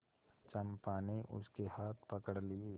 चंपा ने उसके हाथ पकड़ लिए